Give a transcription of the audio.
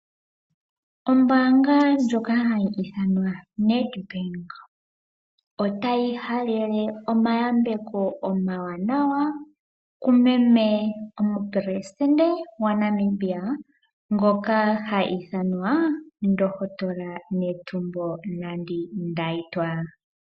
Ombanga ndjoka ha yi ithanwa NEDBANK ota yi halele omayambeko omawanawa kumeme omupelesintende gwaNamibia ngoka ha ithanwa ndohotola Netumbo Nandi-Ndaitwah.